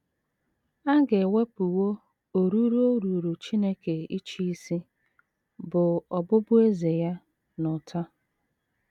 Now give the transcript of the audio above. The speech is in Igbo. A ga - ewepụwo oruru o ruuru Chineke ịchị isi, bụ́ ọbụbụeze ya, n’ụta.